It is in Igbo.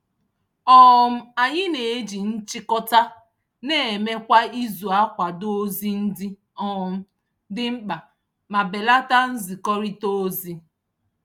um Anyị na-eji nchịkọta na-eme kwa izu akwado ozi ndị um dị mkpa ma belata nzikọrịta ozi.